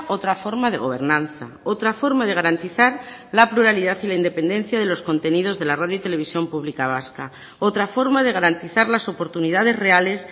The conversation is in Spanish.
otra forma de gobernanza otra forma de garantizar la pluralidad y la independencia de los contenidos de la radio y televisión pública vasca otra forma de garantizar las oportunidades reales